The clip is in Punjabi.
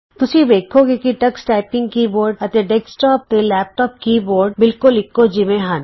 ਤੁਸੀਂ ਵੇਖੋਗੇ ਕਿ ਟਕਸ ਟਾਈਪਿੰਗ ਕੀ ਬੋਰਡ ਅਤੇ ਡੈਸਕਟੋਪ ਤੇ ਲੈਪਟੋਪ ਦੇ ਕੀ ਬੋਰਡ ਬਿਲਕੁਲ ਇਕੋ ਜਿਹੇ ਹਨ